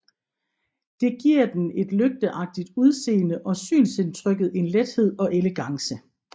Det giver den et lygteagtigt udseende og synsindtrykket en lethed og elegance